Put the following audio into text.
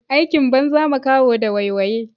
Aikin banza makaho da waiwaye.